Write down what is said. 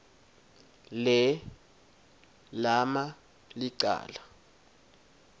le lama licala